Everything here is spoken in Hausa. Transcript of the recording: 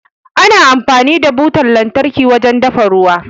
Ana amfani da butar lantarki wajen dafa ruwa.